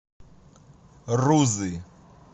рузы